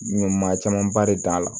Maa camanba de t'a la